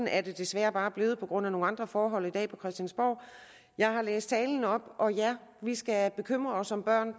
er desværre bare blevet sådan på grund af nogle andre forhold i dag på christiansborg jeg har læst talen op og ja vi skal bekymre os om børn